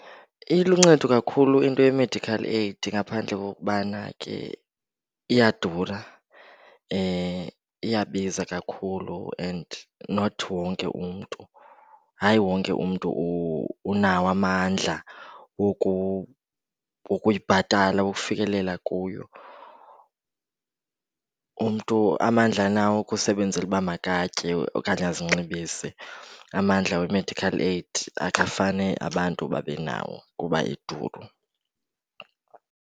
Iluncedo kakhulu into ye-medical aid ngaphandle kokubana ke iyadura. Iyabiza kakhulu and not wonke umntu, hayi wonke umntu unawo amandla wokuyibhatala, wokufikelela kuyo. Umntu amandla anawo wokusebenzela uba makatye okanye azinxibise. Amandla we-medical aid akafane abantu babe nawo kuba iduru.